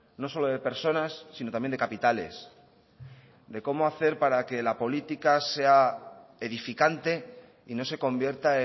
no solo de personas sino también de capitales de cómo hacer para que la política sea edificante y no se convierta